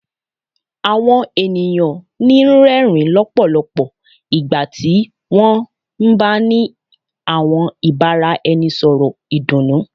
Àwọn ènìyàn ń rẹrin musẹ lọpọlọpọ nígbàtí wọn ń bá ní àwọn ìbáraẹnisọ̀rọ̀ ìdùnnú